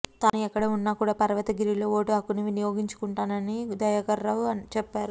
తాను ఎక్కడ ఉన్న కూడ పర్వతగిరిలో ఓటు హక్కును వినియోగించుకొంటానని దయాకర్ రావు చెప్పారు